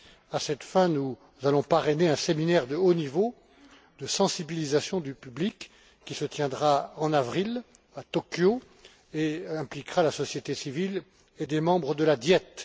À cette fin, nous allons parrainer un séminaire de haut niveau de sensibilisation du public, qui se tiendra en avril à Tokyo, et impliquera la société civile et des membres de la Diète.